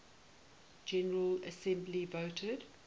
general assembly voted